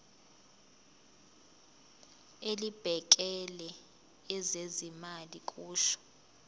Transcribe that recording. elibhekele ezezimali kusho